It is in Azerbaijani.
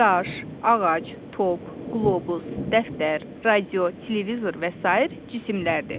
Daş, ağac, top, qlobus, dəftər, radio, televizor və sair cisimlərdir.